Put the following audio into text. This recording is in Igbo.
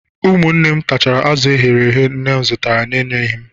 Ụmụnne m tachara azụ eghere eghe nne m zụtara na-enyeghị m